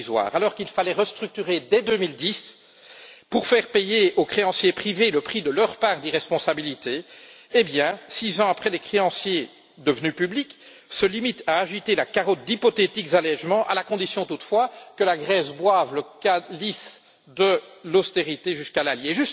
Alors qu'il fallait restructurer dès 2010 pour faire payer aux créanciers privés le prix de leur part d'irresponsabilité, six ans plus tard, les créanciers devenus publics se limitent à agiter la carotte d'hypothétiques allégements, à la condition toutefois que la Grèce boive le calice de l'austérité jusqu'à la lie.